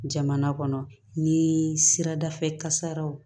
Jamana kɔnɔ ni sirada fɛ kasaraw